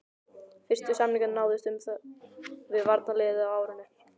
Fyrstu samningar náðust um það við varnarliðið á árinu